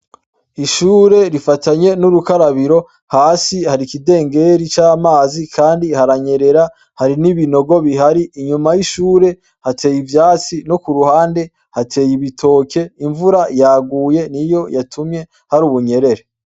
Ishure rifatanye nurukarabiro hasi hari ikidengeri c'amazi ,kandi haranyerera hari n’ibinogo bihari inyuma y'ishure hateye ivyatsi no kuruhande hateye ibitoke, imvura yaguye niyo yatumye hari ubunyerere.